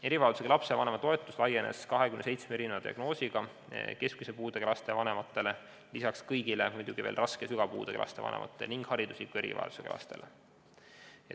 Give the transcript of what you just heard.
" Erivajadusega lapse vanema toetus laienes 27 erisuguse diagnoosi korral keskmise puudega laste vanematele, lisaks kõigile raske ja sügava puudega laste vanematele ning haridusliku erivajadusega laste vanematele.